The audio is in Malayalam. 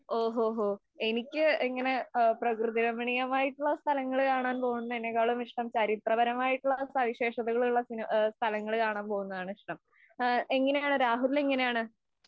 ഓഹോഹോ, എനിക്ക് ഇങ്ങനെ പ്രകൃതിരമണീയമായിട്ടുള്ള സ്ഥലങ്ങള്‍ കാണാന്‍ പോകുന്നതിനേക്കാളും ഇഷ്ടം ചരിത്രപരമയിട്ടുള്ള സവിശേഷതകള്‍ ഉള്ള സ്ഥലങ്ങള്‍ കാണാന്‍ പോകുന്നതനിഷ്ടം. എങ്ങനെയാണ്? രാഹുലിന് എങ്ങനെയാണ്?